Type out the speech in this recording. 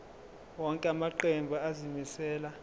wonke amaqembu azimisela